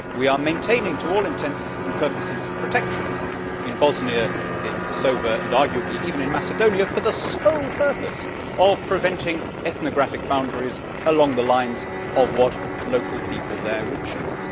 We are maintaining to all intents and purposes protectorates in Bosnia, in Kosovo and arguably even in Macedonia, for the sole purpose of preventing ethnographic boundaries along the lines of what local people there would choose.